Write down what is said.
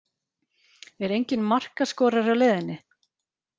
Er enginn markaskorari á leiðinni?